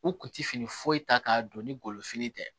U kun ti fini foyi ta k'a don ni golofini tɛ